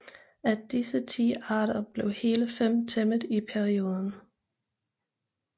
Af disse ti arter blev hele fem tæmmet i perioden